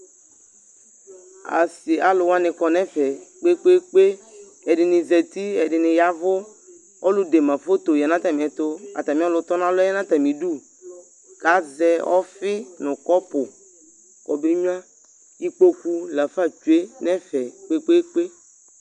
asi , alu wʋani kɔ n'ɛfɛ kpekpekpe, ɛdini zati, ɛdini yavu, ɔlu de ma foto ya nu ata miɛtu ku ata mi ɔlu tɔn'alɔɛ ya n'atamidu k'azɛ ɔfi nu kɔpu ke be gnʋa ikpoku la fa tsʋe n'ɛfɛ kpekpekpe